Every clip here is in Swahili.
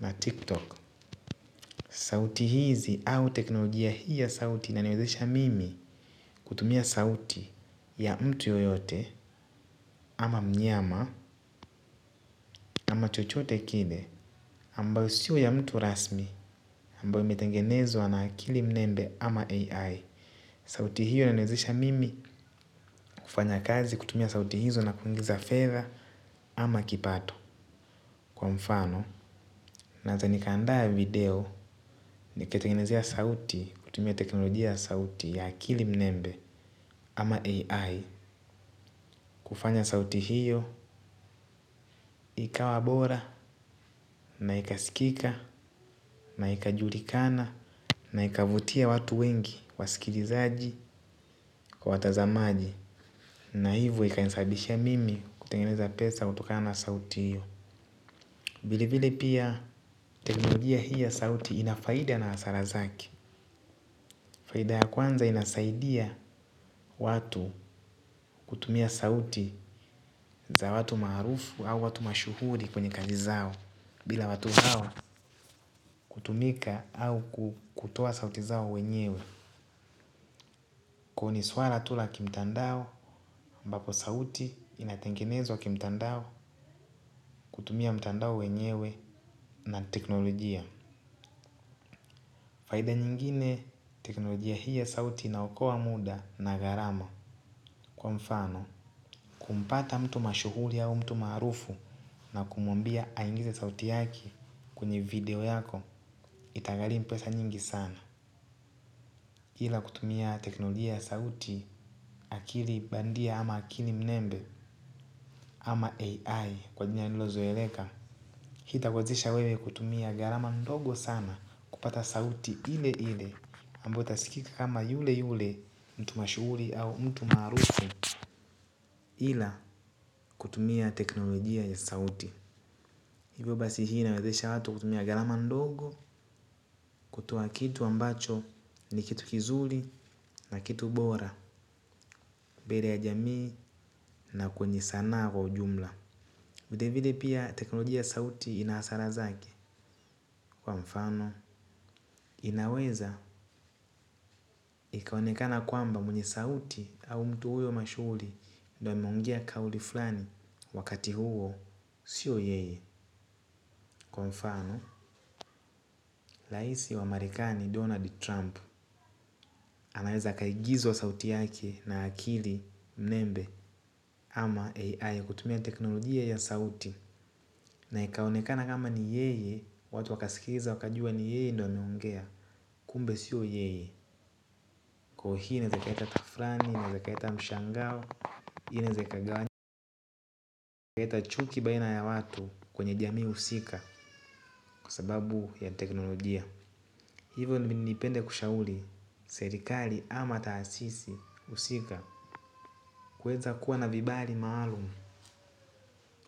na TikTok. Sauti hizi au teknolojia hii ya sauti inaniwezesha mimi kutumia sauti ya mtu yoyote ama mnyama ama chochote kile ambayo sio ya mtu rasmi ambayo imetengenezwa na akili mnembe ama AI sauti hiyo inaniwezesha mimi kufanya kazi kutumia sauti hizo na kuingiza fedha ama kipato kwa mfano naeza nikaanda video niketengenezea sauti kutumia teknolojia ya sauti ya akili mnembe ama AI kufanya sauti hiyo ikawa bora na ikaskika na ikajulikana na ikavutia watu wengi. Wasikilizaji kwa watazamaji na hivo ikanisabishia mimi kutengeneza pesa kutokana na sauti iyo vile vile pia teknolojia hii ya sauti ina faida na hasara zake. Faida ya kwanza inasaidia watu kutumia sauti za watu maarufu au watu mashuhuri kwenye kazi zao. Bila watu hawa kutumika au ku kutoa sauti zao wenyewe kwao ni swala tu la kimtandao ambapo sauti inatengenezwa kimtandao kutumia mtandao wenyewe na teknolojia. Faida nyingine teknolojia hii ya sauti inaokoa muda na gharama kwa mfano. Kumpata mtu mashuhuri au mtu maarufu na kumwambia aingize sauti yake kwenye video yako itagharimu pesa nyingi sana. Ila kutumia teknolojia ya sauti akili bandia ama akili mnembe ama AI kwa jina lililozoeleka. Hitakuwezesha wewe kutumia gharama ndogo sana kupata sauti ile ile ambayo itasikika kama yule yule mtu mashuhuri au mtu maarufu ila kutumia teknolojia ya sauti. Ivo basi hii inawezesha watu kutumia gharama ndogo kutoa kitu ambacho ni kitu kizuri na kitu bora mbele ya jamii na kwenye sanaa kwa ujumla. Vile vile pia teknolojia ya sauti ina hasara zake. Kwa mfano, inaweza ikaonekana kwamba mwenye sauti au mtu huyo mashuhuri ndio ameongea kauli fulani wakati huo, sio yeye. Kwa mfano, laisi wa marekani Donald Trump anaweza akaigizwa sauti yake na akili mnembe Ama AI kutumia teknolojia ya sauti na ikaonekana kama ni yeye watu wakaskiza wakajua ni yeye ndio ameongea kumbe sio yeye kwao hii inaezaikaleta kitu fulani inaezaikaleta mshangao hii inaeza ikagawa leta chuki baina ya watu kwenye jamii husika kwa sababu ya teknolojia. Hivo nipende kushauli, serikali ama taasisi husika kuweza kuwa na vibali maalumu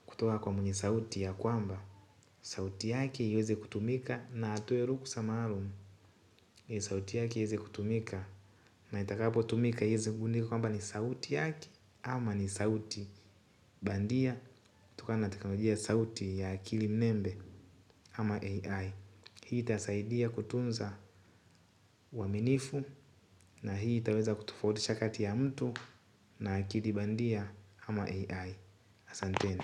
kutoa kwa mwenye sauti ya kwamba sauti yake iweze kutumika na atoe ruhusa maalum. Hii sauti yake iezekutumika na itakapotumika iezengundi kwamba ni sauti yaki ama ni sauti bandia kutokana teknoloji ya sauti ya akili mnembe ama AI. Hii itasaidia kutunza uaminifu na hii itaweza kutofautisha kati ya mtu na akili bandia ama AI. Asanteni.